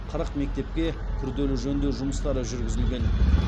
қырық мектепке күрделі жөндеу жұмыстары жүргізілген